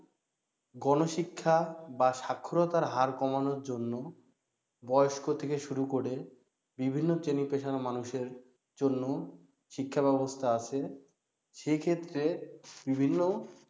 গণশিক্ষা বা স্বাক্ষরতার হার কমানোর জন্য বয়স্ক থেকে শুরু করে বিভিন্ন শ্রেনি পেশার মানুষের জন্য শিক্ষা ব্যাবস্থা আছে সেক্ষেত্রে বিভিন্ন